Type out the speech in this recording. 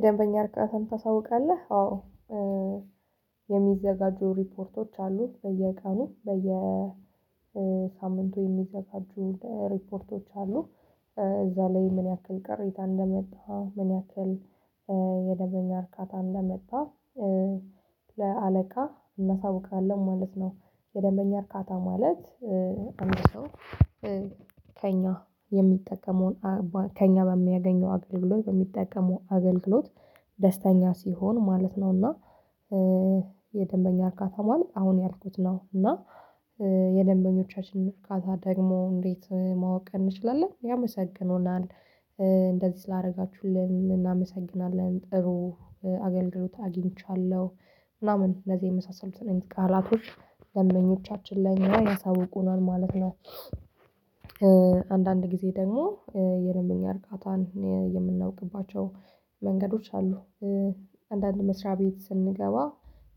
በደንበኛ እርግጠኝነትም ታሳውቃለህ አዎ የሚዘጋጁ ሪፖርቶች አሉ በየቀኑ በየሳምንቱ የሚዘጋጁ ሪፖርቶች አሉ። እዛ ላይ ምን ያክል ቅሬታ እንደመጣ ምን ያክል የደንበኛ እርካታ እንደመጣ ለአለቃ እናሳውቃለን ማለት ነው። የደንበኛ እርካታ ማለት አንድ ሰው ከእኛ የሚጠቀመውን ከእኛ በሚያገኘው አገልግሎት በሚጠቀመው አገልግሎት ደስተኛ ሲሆን ማለት ነው። እና የደንበኛ እርካታ ማለት አሁን ያልኩት ነው። እና የደንበኞቻችንን እርካታ ደግሞ እንዴት ማወቅ እንችላለን? ያመሰግኑናል እንደዚህ ስላደረጋችሁልን እናመሰግናለን ጥሩ አገልግሎት አግኝቻለሁ ምናምን እነዚህ የመሳሰሉትን አላቶች ደንበኞቻችን ላይ ያሳውቁናል ማለት ነው። አንዳንድ ጊዜ ደግሞ የደንበኛ እርቃታን የምናውቅባቸው መንገዶች አሉ። አንዳንድ መስሪያ ቤት ስንገባ